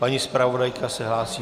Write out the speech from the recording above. Paní zpravodajka se hlásí?